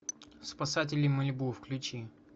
спасатели малибу включи